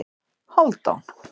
Hálfdán